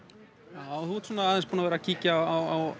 já þú ert svona aðeins búin að vera að kíkja á